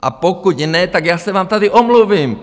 A pokud ne, tak já se vám tady omluvím.